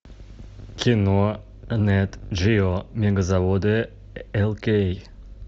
кино нет джио мегазаводы эл кей